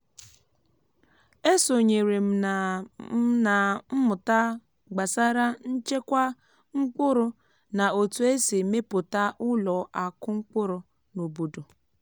e sonyere m na m na mmụta gbasara ịchekwa mkpụrụ na otu esi mepụta ụlọ akụ mkpụrụ n’obodo.